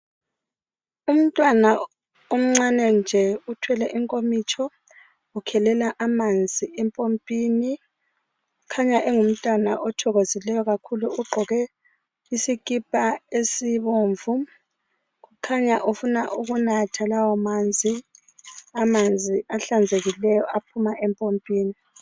Umntwana omncane nje uthwele inkomitsho ukhelela amanzi empompini, ukhanya engumntwana othokozileyo kakhulu uqgoke isikipa esibomvu ukhanya ufuna ukunatha lawamanzi, amanzi ahlanzekileyo aphuma empompini.